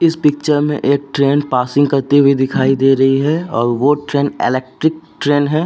इस पिक्चर में एक ट्रेन पासिंग करती हुई दिखाई दे रही है और वो ट्रेन इलेक्ट्रिक ट्रेन है।